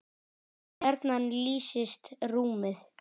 gjarnan lýsist rúmið